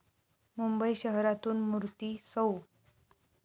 मुंबई शहरातून मूर्ती सौ.